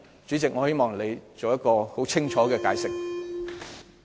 主席，我希望你作出清楚解釋。